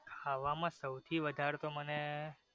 ખાવા માં સૌથી વધારે તો મને